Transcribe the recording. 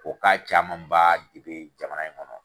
O caman ba de bɛ jama in kɔnɔ.